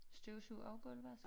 Støvsug og gulvvask?